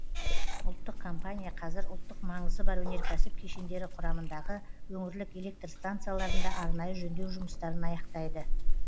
ұлттық компания қазір ұлттық маңызы бар өнеркәсіп кешендері құрамындағы өңірлік электр станцияларында арнайы жөндеу жұмыстарын аяқтайды